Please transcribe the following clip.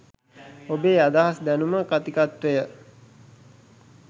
ඔබේ අදහස් දැනුම කථිකත්වය